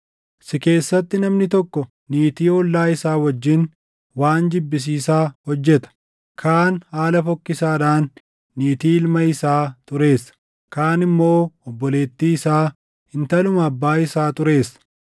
Si keessatti namni tokko niitii ollaa isaa wajjin waan jibbisiisaa hojjeta; kaan haala fokkisaadhaan niitii ilma isaa xureessa; kaan immoo obboleettii isaa, intaluma abbaa isaa xureessa.